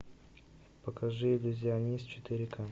покажи иллюзионист четыре ка